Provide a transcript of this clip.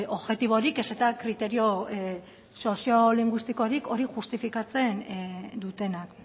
objektiborik ez eta kriterio soziolinguistikorik hori justifikatzen dutenak